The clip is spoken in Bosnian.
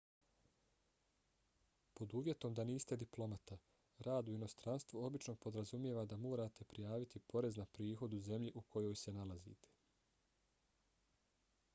pod uvjetom da niste diplomata rad u inostranstvu obično podrazumijeva da morate prijaviti porez na prihod u zemlji u kojoj se nalazite